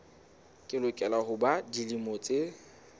lokela ho ba dilemo tse